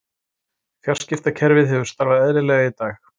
Fjarskiptakerfið hefur starfað eðlilega í dag